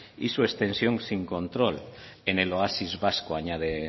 y su extensión sin control en el oasis vasco añade